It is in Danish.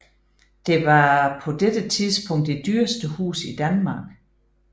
Det var på dette tidspunkt det dyreste hus i Danmark